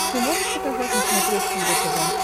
ты можешь показать на смотрешке его тв